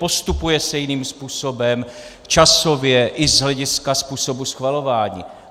Postupuje se jiným způsobem, časově i z hlediska způsobu schvalování.